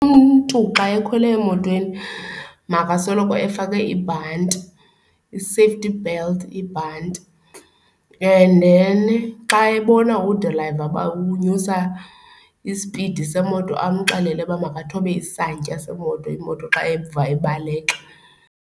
Umntu xa ekhwele emotweni makasoloko efake ibhanti, i-safety belt, ibhanti. And then xa ebona udilayiva uba unyusa ispidi semoto amxelele uba makathobe isantya semoto, imoto xa eva ibaleka.